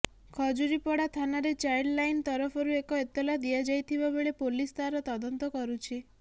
ଖଜୁରୀପଡ଼ା ଥାନାରେ child line ତରଫରୁ ଏକ ଏତଲା ଦିଆଯାଇଥିବା ବେଳେ ପୋଲିସ ତାର ତଦନ୍ତ କରୁଛି